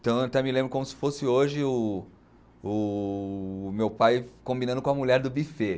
Então eu até me lembro como se fosse hoje o o, o meu pai combinando com a mulher do buffet.